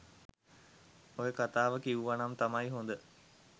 ඔය කතාව කිවුවනම් තමයි හොඳ?